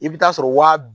I bɛ taa sɔrɔ waa